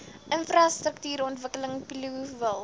infrastruktuurontwikkeling plio wil